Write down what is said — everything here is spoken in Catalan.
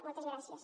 moltes gràcies